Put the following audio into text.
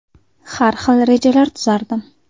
Har xil rejalar tuzardim.